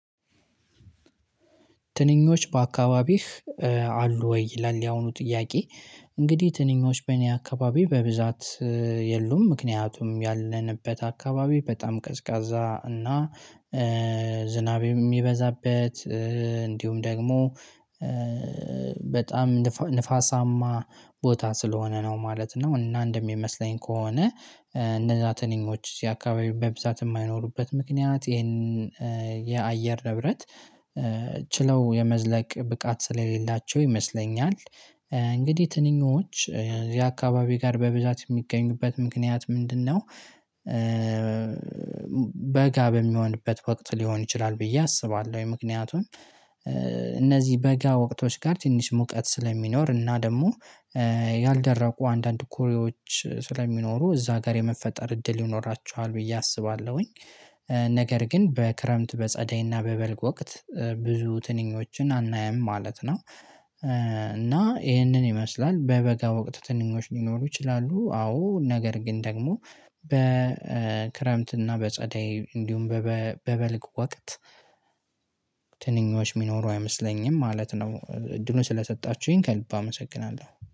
ትንኞች በአካባቢህ አሉ ወይ? ይላል ያሁኑ ጥያቄ እንግዲህ ትንኞች በእኔ አካባቢ በብዛት። የሉም ምክንያቱም ያለንበት አካባቢ በጣም ቀዝቃዛ እና ዝናብ የሚበዛበት እንዲሁም ደግሞ በጣም ንፋሳማ ቦታ ስለሆነ ነው ማለት ነው። እና እንደሚመስለኝ ከሆነ እነዛ ትንኞች የአካባቢ በብዛት የማይኖሩበት ምክንያት ይሄንን የአየር ንብረት ችለው የመዝለቅ ብቃት ስለሌላቸው ይመስለኛል። እንግዲህ ትንኞች ያ አካባቢ ጋር በብዛት የሚገኙበት ምክንያት ምንድነው? በጋ በሚሆንበት ወቅት ሊሆን ይችላል ብዬ አስባለሁ። የምክንያቱን እነዚህ በጋ ወቅቶች ጋር ትንሽ ሙቀት ስለሚኖር እና ደግሞ ያልደረቁ አንዳንድ ኩሬዎች ስለሚኖሩ እዛ ጋር የመፈጠር እድል ይኖራችኋል ብዬ አስባለሁኝ። ነገር ግን በክረምት በጸደይና በበልግ ወቅት ብዙ ትንኞችን አናያም ማለት ነው። እና ይህንን ይመስላል በበጋ ወቅት ትንኞች ሊኖሩ ይችላሉ አዎ ነገር ግን ደግሞ በክረምትና በጸደይ እንዲሁም በበልግ ወቅት ትንኞች የሚኖሩ አይመስለኝም ማለት ነው። እድሉን ስለሰጣችሁኝ ከልብ አመሰግናለሁ